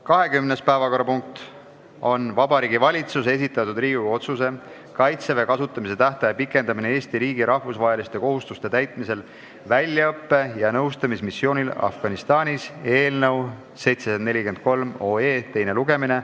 20. päevakorrapunkt on Vabariigi Valitsuse esitatud Riigikogu otsuse "Kaitseväe kasutamise tähtaja pikendamine Eesti riigi rahvusvaheliste kohustuste täitmisel väljaõppe- ja nõustamismissioonil Afganistanis" eelnõu teine lugemine.